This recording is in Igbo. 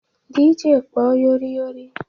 DJ kpọọ Yori Yori!